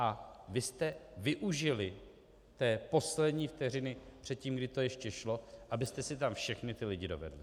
A vy jste využili té poslední vteřiny před tím, kdy to ještě šlo, abyste si tam všechny ty lidi dovedli.